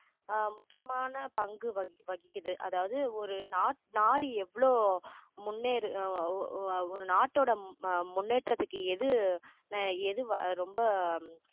ஆஹ் முக்கியமான பங்கு வகிக்கிது அதாவது ஒரு நா~ நாடு எவ்வளோ முன்னேறு அஹ் அஹ் ஒரு நாட்டோட அஹ் முன்னேற்றத்துக்கு எது அஹ் எது ரொம்ப